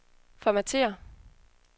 formatér